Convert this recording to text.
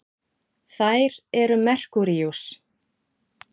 þær eru merkúríus